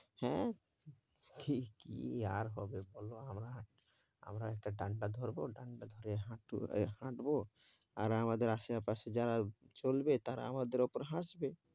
হ্যাঁ, কী কী আর হবে বলো আবার আমরা একটা ডাণ্ডা ধরব, ডাণ্ডা ধরে হাঁট~ হাঁটব আর আমাদের আশেপাশে যারা চলবে তারা আমাদের ওপর হাসবে।